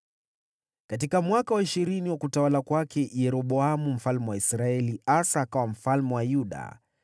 Katika mwaka wa ishirini wa utawala wa Yeroboamu mfalme wa Israeli, Asa akawa mfalme wa Yuda,